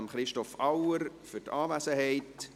Ich danke Christoph Auer für seine Anwesenheit.